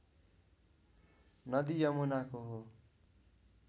नदी यमुनाको हो